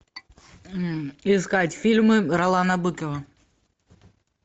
искать фильмы ролана быкова